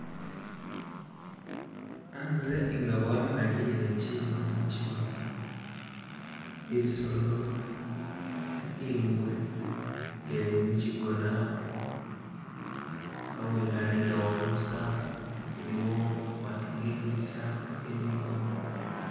Hanze inga bwamaliyile kyilo mikyilo isolo ingwe nga lli mukyigona hawene haligawo busa haliwo matu gebisaala, gebigona